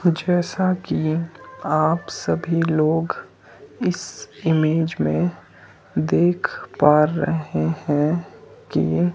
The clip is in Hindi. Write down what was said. जैसा कि आप सभी लोग इस इमेज में देख पा रहे हैं कि--